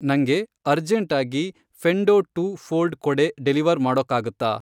ನಂಗೆ ಅರ್ಜೆಂಟಾಗಿ ಫೆ಼ಂಡೊ ಟೂ ಫ಼ೋಲ್ಡ್ ಕೊಡೆ ಡೆಲಿವರ್ ಮಾಡೋಕ್ಕಾಗತ್ತಾ?